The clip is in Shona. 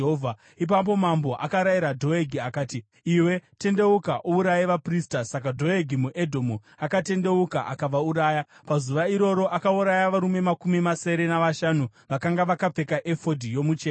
Ipapo mambo akarayira Dhoegi akati, “Iwe, tendeuka uuraye vaprista.” Saka Dhoegi muEdhomu akatendeuka akavauraya. Pazuva iroro akauraya varume makumi masere navashanu vakanga vakapfeka efodhi yomucheka.